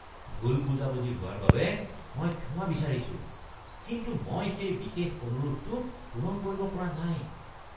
ভুল বুজাবুজি হোৱাৰ বাবে মই ক্ষমা বিচাৰিছোঁ, কিন্তু মই সেই বিশেষ অনুৰোধটো পূৰণ কৰিব পৰা নাই।